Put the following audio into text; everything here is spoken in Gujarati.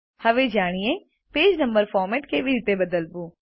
હવે જાણીએ પેજ નંબર ફોર્મેટ કેવી રીતે બદલવું